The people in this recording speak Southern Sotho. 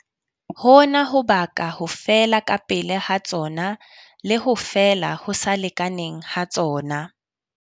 Hona ho baka ho fela kapele ha tsona le ho fela ho sa lekaneng ha tsona.